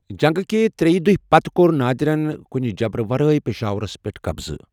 جنگ کہِ ترٛیٚہِ دۅیہِ پتہٕ کوٚر نادرن کُنہِ جبرٕ ورٲے پشاورس پٮ۪ٹھ قبضہٕ۔